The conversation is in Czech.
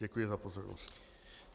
Děkuji za pozornost.